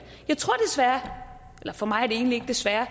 jeg tror desværre for mig er det egentlig ikke desværre